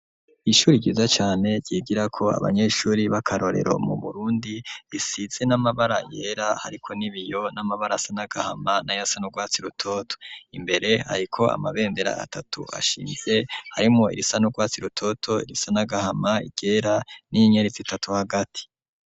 Ishuri ryiza cane ryigirako abanyeshuri b'akarorero mu Burundi risize n'amabara yera hariko n'ibiyo n'amabara asa n'agahama na yasa n'urwatsi rutoto imbere hariko amabendera atatu ashinze harimwo irisa n'urwatsi rutoto irisa n'agahama iryera n'inyenyeri zitatu hagati.